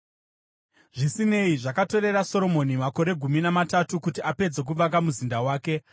Zvisinei, zvakatorera Soromoni makore gumi namatatu kuti apedze kuvaka muzinda wake.